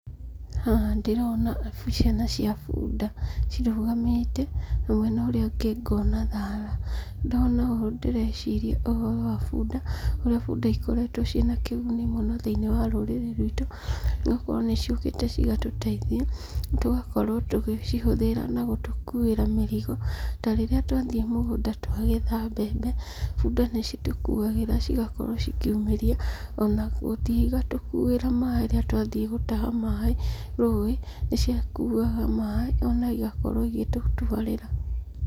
Haha ndĩrona ciana cia bunda cirũgamĩte na mwena ũrĩa ũngĩ ngona thara. Ndona ũũ ndĩreciria ũhoro wa bunda ũrĩa bunda ikoretwo ciĩna kĩguni mũno thĩinĩ wa rurĩrĩ ruitũ igakorwo nĩ ciũkĩte cigatũteithia tũgakorwo tũgĩcihũthĩra na gũtũkuĩra mĩrigo. Ta rĩrĩa twathiĩ mũgũnda twagetha mbembe bunda nĩcitũkuagĩra cigakorwo cikĩumĩria, ona gũthiĩ cigatũkuĩra maaĩ rĩrĩa twathiĩ gũtaha maaĩ rũĩ nĩcikuaga maaĩ ona igakorwo igĩtũtwarĩra.